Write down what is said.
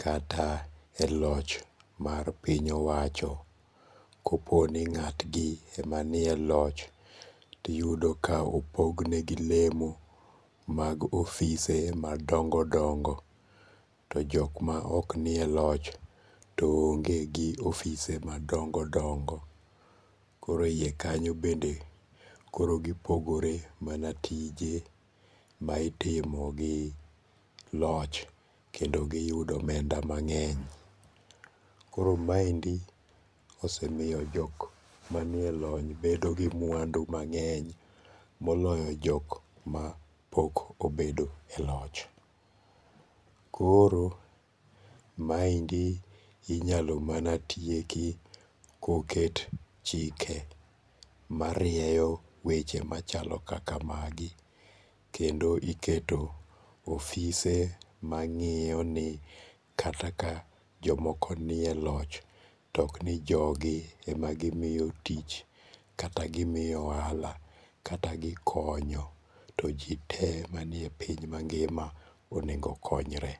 kata e loch mar piny owacho kopono nga'tgi emanie loch tiyudo ka opognegi lemo mag ofise madongo dongo, to jok ma oknie loch to onge' gi ofise madongo' dongo, koro hiye kanyo bende koro gipogore mana tije ma itimo gi loch kendo giyudo omenda mange'ny, koro maendi osemiyo jok manielony bedo gi mwandu mange'ny moloyo jok ma ok obedo e loch, koro maendi inyalo mana tieki koket chike marieyo weche machalo kaka magi kendo iketo ofise mangi'yoni kata ka jomoko nie loch, to ok ni jogi ema gimiyo tich, kata gimiyo ohala, kata gikonyo to ji te manie piny mangima onego konyre.